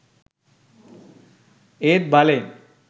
ඒත් බලෙන්